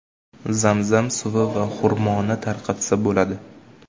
Zam-zam suvi va xurmoni tarqatsa bo‘ladi.